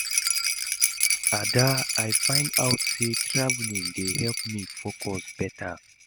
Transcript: Ada, I find out say traveling dey help me focus beta